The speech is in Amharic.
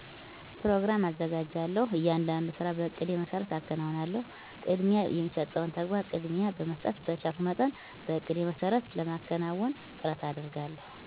ኘሮግራም አዘጋጃለሁ። እያንዳንዱን ስራ በእቅዴ መሰረት አከናውናለሁ። ቅድሚያ የሚሰጠውን ተግባር ቅድሚያ በመስጠት በቻልኩት መጠን በእቅዴ መሰረት ለማከናወን ጥረት አደርጋለሁ።